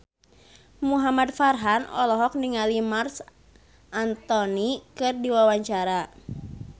Muhamad Farhan olohok ningali Marc Anthony keur diwawancara